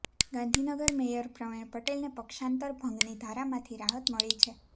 Gandhinagar mayor Pravin પટેલને પક્ષાંતર ભંગની ધારામાંથી રાહત મળી છે